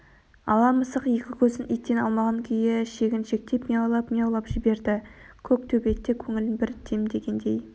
ала мысық екі көзін иттен алмаған күйі шегіншектеп мияулап-мияулап жіберді көк төбет те көңілін бір демдегендей